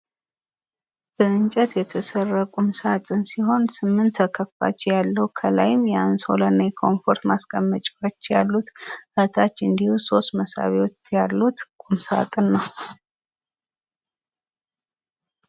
በእንጨት የተሰራ ቁም ሳጥን ሲሆን ስምት ተከፋች ያለው ከላይም የአንሶላና የኮፈርት ማስቀመጫዎች ያሉት ከታች እንዲሁ ሶስት መሳቢያዎች ያሉት ቁም ሳጥን ነው።